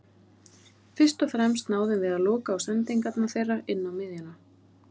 Fyrst og fremst náðum við að loka á sendingarnar þeirra inná miðjuna.